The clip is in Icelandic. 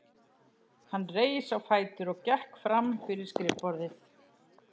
Hann reis á fætur og gekk fram fyrir skrifborðið.